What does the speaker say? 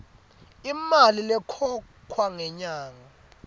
imali lekhokhwa ngenyanga